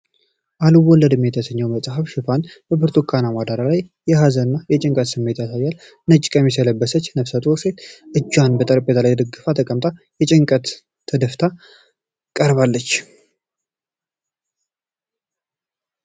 "አልወለድም" የተሰኘው መጽሐፍ ሽፋን በብርቱካናማ ዳራ ላይ የሀዘን እና የጭንቀት ስሜት ያሳያል። ነጭ ቀሚስ የለበሰች ነፍሰ ጡር ሴት እጇን በጠረጴዛ ላይ ደግፋ ተቀምጣ በጭንቀት ተደፍታ ቀርባለች።